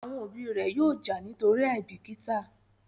Àwọn òbí ré yóò já nítorí àìbìkítà